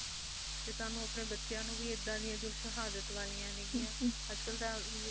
ਤੇ ਸਾਨੂੰ ਆਪਣੇ ਬੱਚਿਆਂ ਨੂੰ ਵੀ ਐਦਾਂ ਦੀਆਂ ਨੇ ਜੋ ਸ਼ਹਾਦਤ ਵਾਲਿਆਂ ਨਿਗਿਆਂ ਅੱਜ ਕੱਲ ਤਾਂ vidios